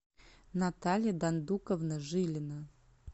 наталья дандуковна жилина